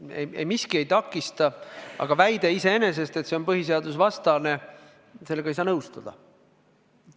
Mitte miski ei takista, aga väitega, et see on põhiseadusvastane, ei saa nõustuda.